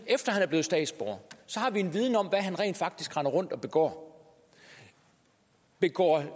efter han blev statsborger har vi en viden om hvad han rent faktisk render rundt og begår begår at han